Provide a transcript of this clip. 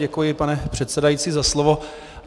Děkuji, pane předsedající, za slovo.